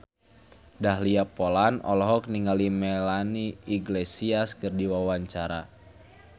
Dahlia Poland olohok ningali Melanie Iglesias keur diwawancara